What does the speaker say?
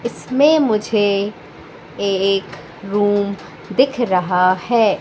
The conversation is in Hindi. इसमें मुझे एक रूम दिख रहा है।